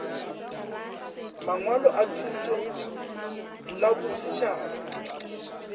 mangwalo a thuto la bosetšhaba